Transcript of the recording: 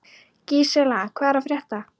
Gísela, hvað er að frétta?